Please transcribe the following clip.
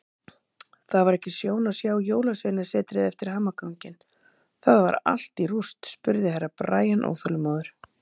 Það var ekki sjón að sjá Jólasveinasetrið eftir hamaganginn, það var allt í rúst spurði Herra Brian óþolinmóður.